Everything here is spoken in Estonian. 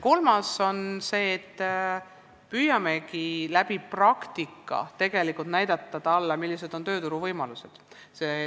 Kolmas asi on see, et me püüame praktika abil talle näidata, millised on tööturuvõimalused.